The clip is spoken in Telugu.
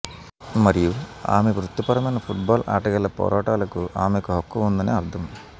మరియు ఆమె వృత్తిపరమైన ఫుట్ బాల్ ఆటగాళ్ళ పోరాటాలకు ఆమెకు హక్కు ఉందని అర్థం